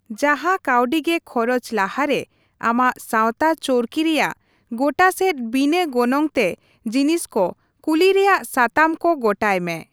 ᱡᱟᱦᱟ ᱠᱟᱹᱣᱰᱤ ᱜᱮ ᱠᱷᱚᱨᱚᱪ ᱞᱟᱦᱟ ᱨᱮ ᱟᱢᱟᱜ ᱥᱟᱶᱛᱟ ᱪᱚᱨᱠᱤ ᱨᱮᱭᱟᱜ ᱜᱚᱴᱟᱥᱮᱫ ᱵᱤᱱᱟᱹ ᱜᱚᱱᱚᱝ ᱛᱮ ᱡᱤᱱᱤᱥ ᱠᱚ ᱠᱩᱞᱤ ᱨᱮᱭᱟᱜ ᱥᱟᱛᱟᱢ ᱠᱚ ᱜᱚᱴᱟᱭ ᱢᱮ ᱾